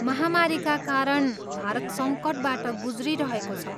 महामारीका कारण भारत सङ्कटबाट गुज्रिरहेको छ।